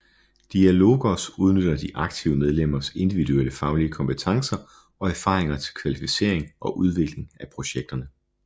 Diálogos udnytter de aktive medlemmers individuelle faglige kompetencer og erfaringer til kvalificering og udvikling af projekterne